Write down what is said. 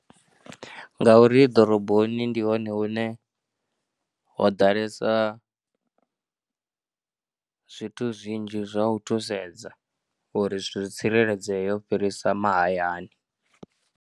Ngauri ḓoroboni ndi hone hune ho ḓalesa zwithu zwinzhi zwa u thusedza uri zwithu zwi tsireledzee u fhirisa mahayani.